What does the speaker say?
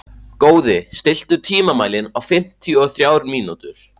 Góði, stilltu tímamælinn á fimmtíu og þrjár mínútur.